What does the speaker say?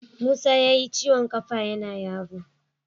Musa yayi ciwon ƙafa yana yaro.